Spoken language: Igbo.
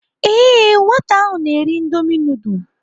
Ee nwata ahụ na-eri indomi nudul.